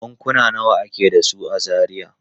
Bankuna nawa ake da su a Zaria?